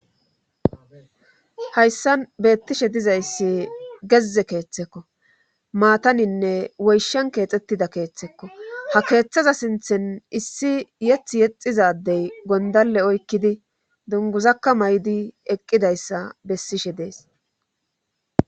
hayssan beettishe dizayssi gezze keeththekko maataninne woyshen keexettida keeththekko ha keeththaza sinthen issi yeththa yexiza addey gondalle oykkidii dunguzakka may'di eqqidayssa besishe dees